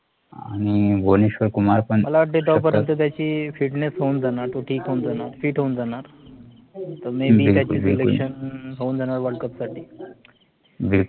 आणि भुवनेश्वर कुमार पण बिलकुल